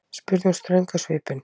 spurði hún ströng á svipinn.